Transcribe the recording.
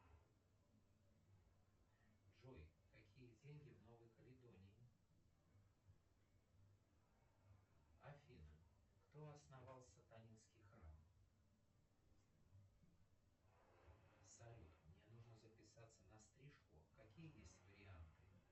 джой какие деньги в новой каледонии афина кто основал сатанинский храм салют мне нужно записаться на стрижку какие есть варианты